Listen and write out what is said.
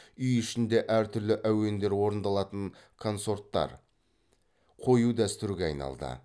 үй ішінде әр түрлі әуендер орындалатын консорттар қою дәстүрге айналды